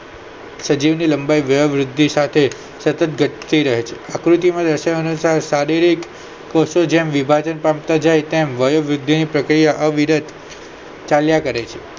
સજીવની લંબાઈ વયવૃદ્ધિ સાથે સતત ઘટતી રહે છે આકૃતિમાં દર્શાવ્યા અનુસાર શારીરિક કોષો જેમ વિભાજન પામે તેમ વયોવૃદ્ધિની પ્રક્રિયા અવિરત ચાલ્યા કરે છે